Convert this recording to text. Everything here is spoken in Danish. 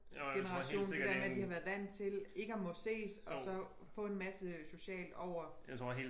Generation det dér med de har været vant til ikke at må ses og så få en masse socialt over